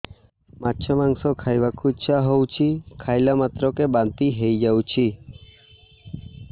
ମାଛ ମାଂସ ଖାଇ ବାକୁ ଇଚ୍ଛା ହଉଛି ଖାଇଲା ମାତ୍ରକେ ବାନ୍ତି ହେଇଯାଉଛି